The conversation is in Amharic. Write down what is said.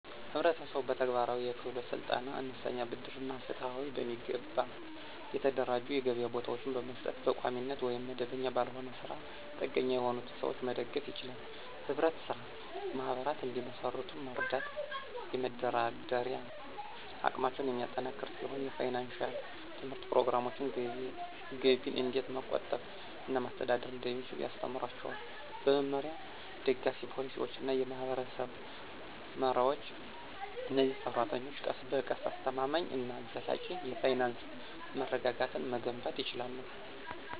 ህብረተሰቡ በተግባራዊ የክህሎት ስልጠና፣ አነስተኛ ብድር እና ፍትሃዊ፣ በሚገባ የተደራጁ የገበያ ቦታዎችን በመስጠት በቋሚነት ወይም መደበኛ ባልሆነ ስራ ላይ ጥገኛ የሆኑትን ሰዎች መደገፍ ይችላል። ህብረት ስራ ማህበራት እንዲመሰርቱ መርዳት የመደራደሪያ አቅማቸውን የሚያጠናክር ሲሆን የፋይናንሺያል ትምህርት ፕሮግራሞች ገቢን እንዴት መቆጠብ እና ማስተዳደር እንደሚችሉ ያስተምራቸዋል። በመመሪያ፣ ደጋፊ ፖሊሲዎች እና የማህበረሰብ መረቦች፣ እነዚህ ሰራተኞች ቀስ በቀስ አስተማማኝ እና ዘላቂ የፋይናንስ መረጋጋትን መገንባት ይችላሉ።